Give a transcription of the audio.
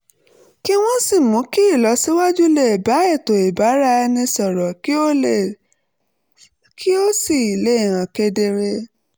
kí wọ́n sì mú kí ìlọsíwájú lè bá ètò ìbára-ẹni-sọ̀rọ̀ kí ó sì lè hàn kedere